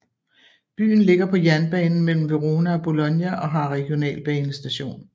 Byen ligger på jernbanen mellem Verona og Bologna og har regionalbanestation